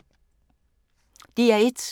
DR1